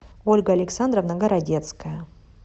ольга александровна городецкая